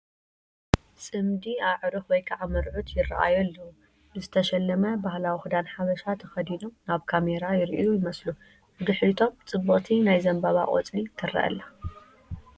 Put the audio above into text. ፅምዲ ኣዕሩኽ ወይ ከዓ መርዑት ይራኣዩ ኣለው፡፡ ብዝተሸለመ ባህላዊ ክዳን ሓበሻ ተኸዲኖም ናብ ካሜራ ይሪኡ ይመስሉ፡፡ ብድሕሪቶም ፅብቕቲ ናይ ዘንባባ ቆፅሊ ትረአ ኣላ፡፡